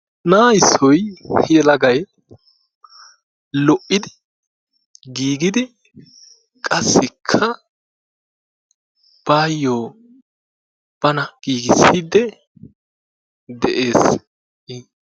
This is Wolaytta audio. Na'aa issoy yelagay lo'idi gigidi qassikka baayo bana gigissidi de'ees i.